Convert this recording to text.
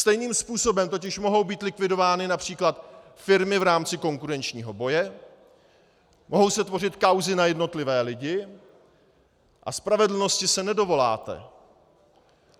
Stejným způsobem totiž mohou být likvidovány například firmy v rámci konkurenčního boje, mohou se tvořit kauzy na jednotlivé lidi, a spravedlnosti se nedovoláte.